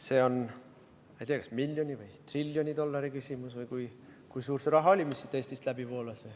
See on, ma ei tea, kas miljoni või triljoni dollari küsimus või kui suur see raha oli, mis siit Eestist läbi voolas.